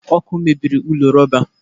Ọkụ mebiri ụlọ rọba